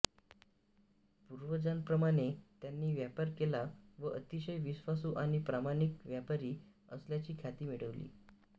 पूर्वजांप्रमाणे त्यांनी व्यापार केला व अतिशय विश्वासू आणि प्रामाणिक व्यापारी असल्याची ख्याती मिळविली